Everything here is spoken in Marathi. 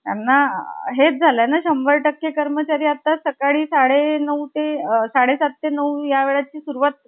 पण या पायपिटीतून एक मंदिर~ साध~ अं मंदिर साकारलं होतं.